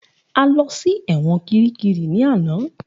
A lõ sí èwõn kíríkírí ní àná.